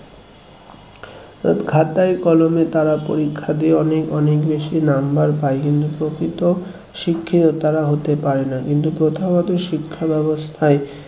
খাতায় কলমে তারা পরীক্ষা দিয়ে অনেক অনেক বেশি number পাই কিন্তু প্রকৃত শিক্ষিত তারা হতে পারে না কিন্তু প্রথাগত শিক্ষা ব্যবস্থায়